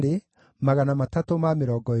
na andũ a Elamu ĩrĩa ĩngĩ maarĩ 1,254